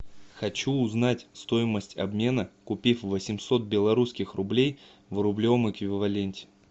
хочу узнать стоимость обмена купив восемьсот белорусских рублей в рублевом эквиваленте